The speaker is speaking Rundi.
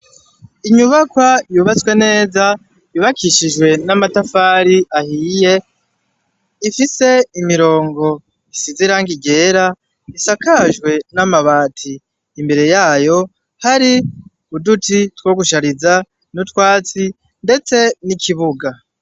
Inyubakwa yubatswe neza, yubakishijwe amatafari ahiye, ifise imirongo isize irangi ryera isakajwe n'amabati, imbere yayo hari uduti two gushariza n'utwatsi, ndetse n'ikibuga.